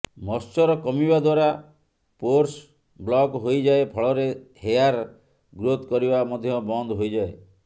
moisture କମିବା ଦ୍ୱାରା pores block ହୋଇଯାଏ ଫଳରେ ହେୟାର ଗ୍ରୋଥ୍ କରିବା ମଧ୍ୟ ବନ୍ଦ ହୋଇଯାଏ